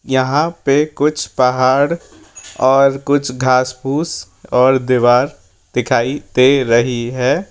यहां पे कुछ पहाड़ और कुछ घास पूस और दीवार दिखाई दे रही है।